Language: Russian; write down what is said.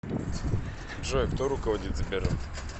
джой кто руководит сбером